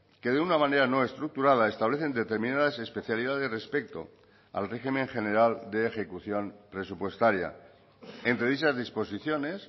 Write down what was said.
que de una manera no estructurada establecen determinadas especialidades respecto al régimen general de ejecución presupuestaria entre dichas disposiciones